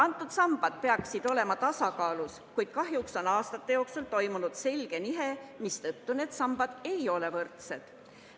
Need sambad peaksid olema tasakaalus, kuid kahjuks on aastate jooksul toimunud selge nihe, mistõttu need sambad ei ole võrdsed.